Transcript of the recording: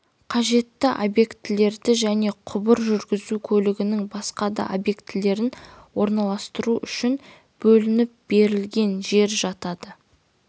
қажетті объектілерді және құбыр жүргізу көлігінің басқа да объектілерін орналастыру үшін бөлініп берілген жер жатады